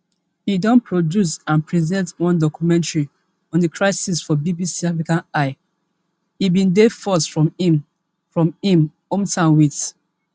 e don produce and present one documentary on di crisis for bbc africa eye e bin dey forced from im from im hometown wit